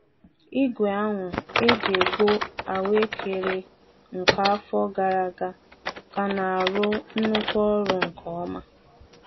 Igwe ahụ e ji ekpo ahụekere nke afọ gara aga ka na-arụ nnukwu ọrụ nke ọma.